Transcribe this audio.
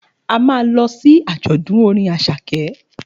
A ma lọ sí àjọ̀dún orin Àṣàkẹ́